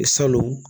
Salon